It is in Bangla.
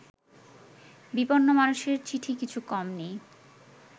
বিপন্ন মানুষের চিঠি কিছু কম নেই